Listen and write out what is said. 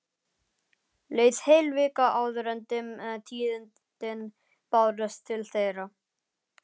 Leið heil vika áður en dimm tíðindin bárust til þeirra.